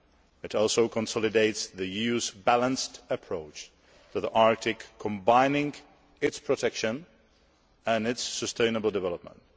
It also consolidates the EU's balanced approach to the Arctic, combining its protection and its sustainable development.